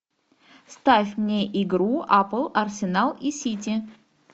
ставь мне игру апл арсенал и сити